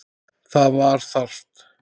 Það var þarft.